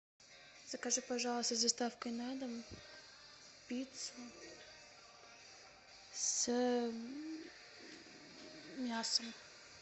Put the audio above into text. закажи пожалуйста с доставкой на дом пиццу с мясом